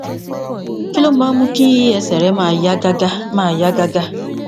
kí ló máa ń mú kí ẹsè rẹ máa yá gágá máa yá gágá